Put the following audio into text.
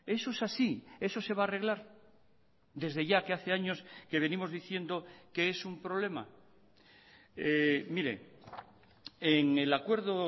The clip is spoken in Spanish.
eso es así eso se va a arreglar desde ya que hace años que venimos diciendo que es un problema mire en el acuerdo